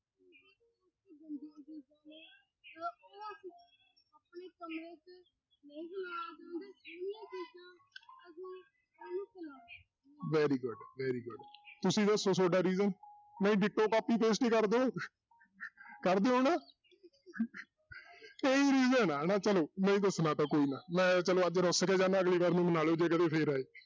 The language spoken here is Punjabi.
Very good very good ਤੁਸੀਂ ਦੱਸੋ ਤੁਹਾਡਾ reason ਨਹੀਂ ditto, copy, paste ਹੀ ਕਰ ਦਓ ਕਰਦੇ ਹੋ ਨਾ ਇਹੀ reason ਆ ਨਾ, ਚਲੋ ਨਹੀਂ ਦੱਸਣਾ ਤਾਂ ਕੋਈ ਨਾ ਮੈਂ ਚਲੋ ਅੱਜ ਰੁੱਸ ਕੇ ਜਾਨਾ ਅਗਲੀ ਵਾਰ ਮੈਨੂੰ ਮਨਾ ਲਇਓ ਜੇ ਕਦੇ ਫਿਰ ਆਏ।